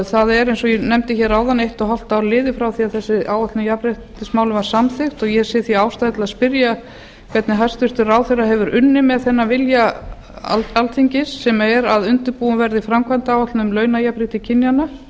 það er eins og ég nefndi hér áðan eitt og hálft ár liðið frá því að þessi áætlun jafnréttismála var samþykkt og ég sé því ástæðu til að spyrja hvernig hæstvirtur ráðherra hefur unnið með þennan vilja alþingi sem er að undirbúin verði framkvæmdaáætlun um launajafnrétti kynjanna